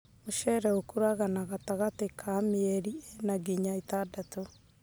mũcere ũkũraga na gatagatĩ ka mĩeri ĩna nginya ĩtandatũ.